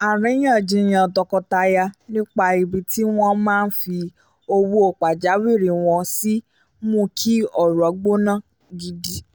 àríyànjiyàn tọkọtaya nípa ibi tí wọ́n máa fi owó pajawiri wọn sí mú kí ọ̀rọ̀ gbóná gidi